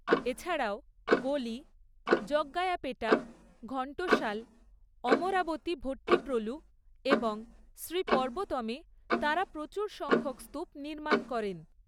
এছাড়াও গোলি, জগ্গায়াপেটা, ঘণ্টসাল, অমরাবতী ভট্টিপ্রোলু এবং শ্রী পর্বতমে তাঁরা প্রচুর সংখ্যক স্তূপ নির্মাণ করেন।